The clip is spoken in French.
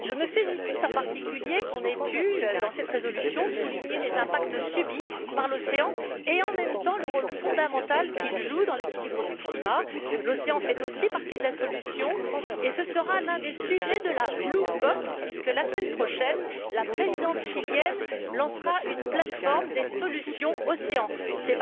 Je me félicite en particulier que nous ayons pu, dans cette résolution, souligner les conséquences subies par l'océan et, en même temps, le rôle fondamental que celui ci joue dans l'équilibre du climat. L'océan fait aussi partie de la solution, et ce sera l'un des sujets de la COP bleue puisque, la semaine prochaine, la présidente chilienne lancera une plateforme des solutions Ocean, à savoir, notamment,